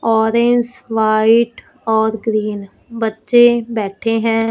Orange white और green बच्चे बैठे हैं।